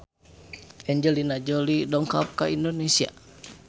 Angelina Jolie dongkap ka Indonesia